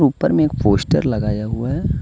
ऊपर में एक पोस्टर लगाया हुआ हैं।